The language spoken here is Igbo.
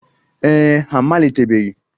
Ee e, ha amalitebeghị.